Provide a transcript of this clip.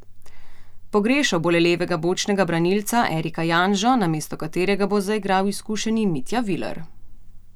Pogrešal bo le levega bočnega branilca Erika Janžo, namesto katerega bo zaigral izkušeni Mitja Viler.